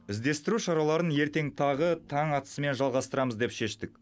іздестіру шараларын ертең тағы таң атысымен жалғастырамыз деп шештік